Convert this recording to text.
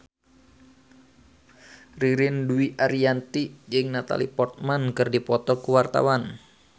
Ririn Dwi Ariyanti jeung Natalie Portman keur dipoto ku wartawan